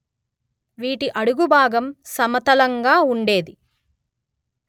వీటి అడుగు భాగం సమతలంగా ఉండేది